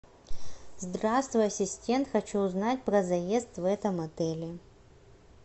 здравствуй ассистент хочу узнать про заезд в этом отеле